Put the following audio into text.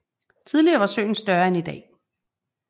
Tidligere var søen større end i dag